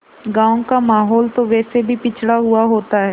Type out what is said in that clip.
गाँव का माहौल तो वैसे भी पिछड़ा हुआ होता है